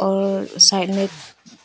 और साइड में एक